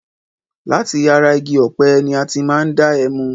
Láti ara igi ọpẹ̀ ní a ti máa ń da ẹmu.